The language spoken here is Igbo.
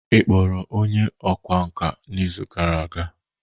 ị kpọrọ onye ọkwá nkà n'izu gara aga?